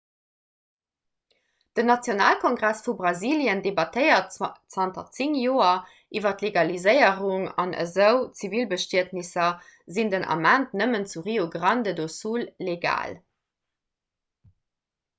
den nationalkongress vu brasilien debattéiert zanter 10 joer iwwer d'legaliséierung an esou zivilbestietnesser sinn den ament nëmmen zu rio grande do sul legal